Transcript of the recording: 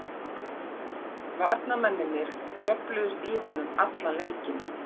Varnarmennirnir djöfluðust í honum allan leikinn.